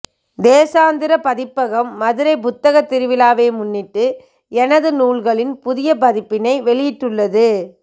தேசாந்திரி பதிப்பகம் மதுரைப் புத்தகத்திருவிழாவை முன்னிட்டு எனது நூல்களின் புதிய பதிப்பினை வெளியிட்டுள்ளது